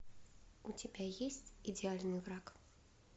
у тебя есть идеальный враг